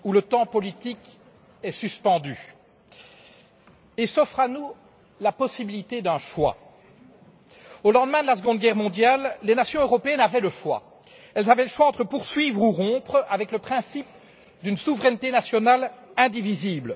Chers collègues, il y a des moments où le temps politique est suspendu, et s'offre à nous la possibilité d'un choix. Au lendemain de la seconde guerre mondiale, les nations européennes avaient le choix. Elles avaient le choix entre poursuivre ou rompre avec le principe d'une souveraineté nationale indivisible.